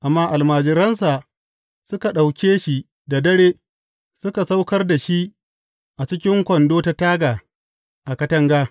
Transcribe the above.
Amma almajiransa suka ɗauke shi da dare suka saukar da shi a cikin kwando ta taga a katanga.